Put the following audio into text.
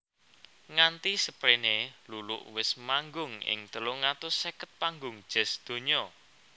Nganti seprene Luluk wis manggung ing telung atus seket panggung jazz donya